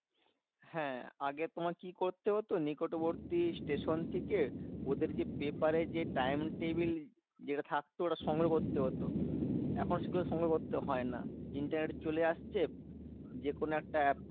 হ্যাঁ আগে তোমার কি করতে হতো? নিকটবর্তী station থেকে ওদের যে paper এ যে time table যেটা থাকতো ওটা সংগ্রহ করতে হতো। এখন সেগুলো সংগ্রহ করতে হয় না। internet এ চলে আসছে। যেকোনো একটা app